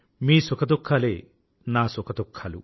మీ సుఖదుఖాలే నా సుఖదుఖాలు